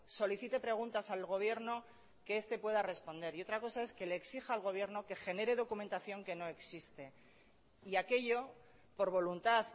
solicite preguntas al gobierno que este pueda responder y otra cosa es que le exija al gobierno que genere documentación que no existe y aquello por voluntad